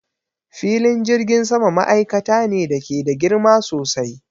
Filin jirgin sama ma'aikata ne da ke da girma sosai